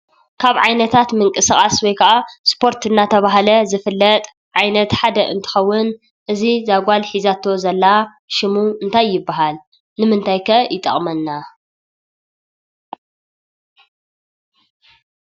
ካብ ዓይነታት ምንቅስቓስ ወይ ከዓ ስፖርት እናተባህለ ዝፍለጥ ዓይነት ሓደ እንትኸውን፣ እዚ እዛ ጓል ሒዛቶ ዘላ ሽሙ እንታይ ይበሃል? ንምንታይ ከ ይጠቕመና?